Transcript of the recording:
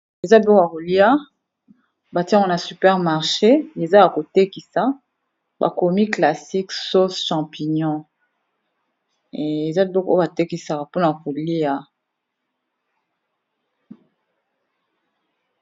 Eza biloko ya kolia batie yango na super marche. Eza ya ko tekisa ba komi classique sauce champignon, eza biloko ba tekisaka mpona kolia.